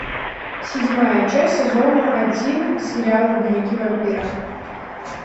седьмая часть сезона один сериал дневники вампира